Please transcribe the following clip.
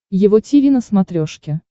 его тиви на смотрешке